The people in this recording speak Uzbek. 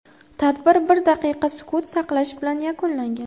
Tadbir bir daqiqa sukut saqlash bilan yakunlangan.